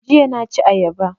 Jiya na ci ayaba